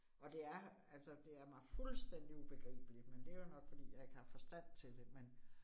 Og det er, altså det er mig fuldstændig ubegribeligt, men det jo nok fordi jeg ikke har forstand til det, men